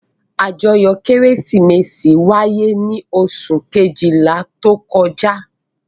Àjọyọ̀ Kérésìmesì wáyé ní oṣù kejìlá tó kọjá.